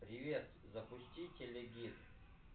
привет запусти телегид